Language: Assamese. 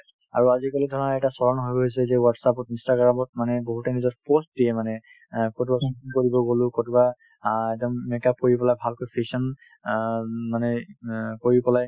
আৰু আজিকালি ধৰা এটা fashion হৈ গৈছে যে whatsapp ত instagram ত মানে বহুত নিজৰ post দিয়ে মানে অ ক'ৰবাত shopping কৰিব গ'লো অ একদম make up কৰি পেলাই ভালকৈ fashion অ উম মানে অ কৰি পেলাই